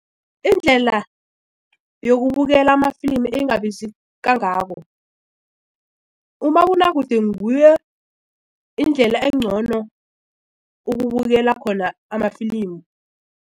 Indlela yokubukela amafilimu engabizi kangako umabonakude nguye indlela engcono ukubukela khona amafilimu.